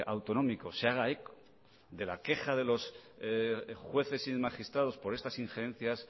autonómico se haga eco de la queja de los jueces y de los magistrados por estas injerencias